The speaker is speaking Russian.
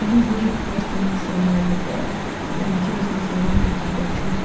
нужно жить просто максимально по ориентируясь на свои какие-то чувст